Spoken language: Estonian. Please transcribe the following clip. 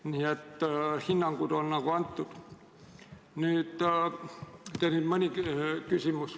Nii et hinnangud on nagu antud.